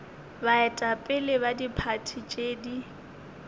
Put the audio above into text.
baetapele ba diphathi tše di